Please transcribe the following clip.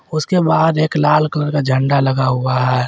उसके बाहर एक लाल कलर का झंडा लगा हुआ है।